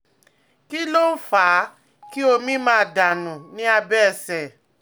Kí ló ń ń fa kí omi máa dà nù ní abẹ́ ẹsẹ̀?